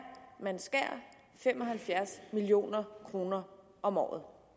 man skærer fem og halvfjerds million kroner om året